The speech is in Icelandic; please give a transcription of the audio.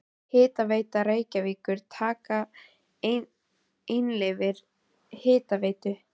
Hitaveita Reykjavíkur taka við einkaleyfi Hitaveitu